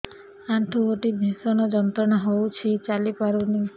ଆଣ୍ଠୁ ଗଣ୍ଠି ଭିଷଣ ଯନ୍ତ୍ରଣା ହଉଛି ଚାଲି ପାରୁନି